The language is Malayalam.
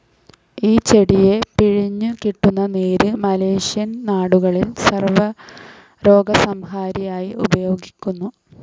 ഈ ചെടിയെ പിഴിഞ്ഞു കിട്ടുന്ന നീര് മലേഷ്യൻ നാടുകളിൽ സർവ്വരോഗസംഹാരിയായി ഉപയോഗിക്കുന്നു.